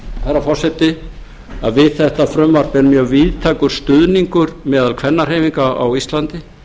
herra forseti að við þetta frumvarp er mjög víðtækur stuðningur meðal kvennahreyfinga á íslandi